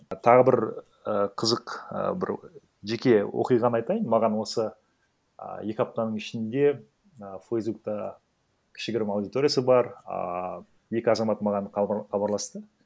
тағы бір і қызық і бір жеке оқиғаны айтайын маған осы і екі аптаның ішінде і фейсбукта кішігірім аудиториясы бар ааа екі азамат маған хабарласты